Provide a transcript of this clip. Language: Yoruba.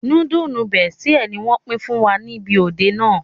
Núdúùsù Bestie ni wọ́n pín fún wa ní ibi òde náà